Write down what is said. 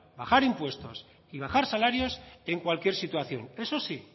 bajar impuestos y bajar salarios en cualquier situación eso sí